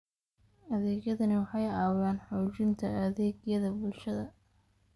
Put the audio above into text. Adeegyadani waxay caawiyaan xoojinta adeegyada bulshada.